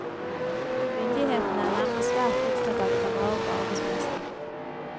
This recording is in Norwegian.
Myndighetene er nemlig svært opptatt av å ta vare på arbeidsplassene.